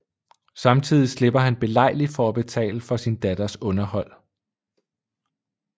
Samtidig slipper han belejligt for at betale for sin datters underhold